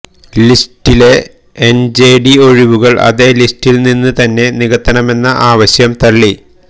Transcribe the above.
ലിസ്റ്റിലെ N J D ഒഴിവുകൾ അതേ ലിസ്റ്റിൽ നിന്ന് തന്നെ നികത്തണമെന്ന ആവശ്യം തള്ളി